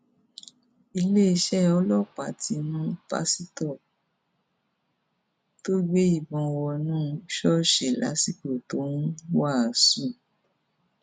iléeṣẹ ọlọpàá ti mú pásítọ tó gbé ìbọn wọnú ṣọọṣì lásìkò tó ń wàásù